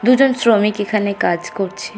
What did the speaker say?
দুজন শ্রমিক এখানে কাজ করছে।